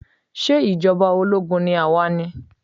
Ṣé ìjọba ológun ni a wà ni?